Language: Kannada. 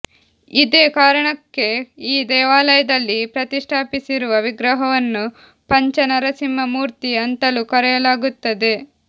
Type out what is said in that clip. ಇದೇ ಕಾರಣಕ್ಕೆ ಈ ದೇವಾಲಯದಲ್ಲಿ ಪ್ರತಿಷ್ಠಾಪಿಸಿರುವ ವಿಗ್ರಹವನ್ನು ಪಂಚ ನರಸಿಂಹ ಮೂರ್ತಿ ಅಂತಲೂ ಕರೆಯಲಾಗುತ್ತದೆ